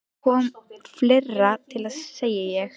Það kom fleira til, segi ég.